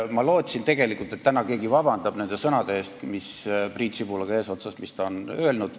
Ma lootsin tegelikult, et täna keegi palub vabandust, Priit Sibulaga eesotsas, nende sõnade eest, mis nad on öelnud.